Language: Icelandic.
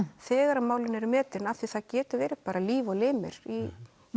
þegar málin eru metin af því það geta verið bara líf og limir í